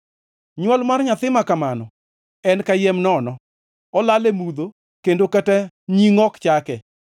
Nywol mar nyathi ma kamano en kayiem nono, olal e mudho kendo kata nying ok chake.